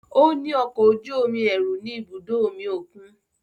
O ni ọkọ oju-omi ẹru ni ibudo omi okun